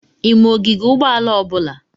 I ma ogige ụgbọala ọbụla?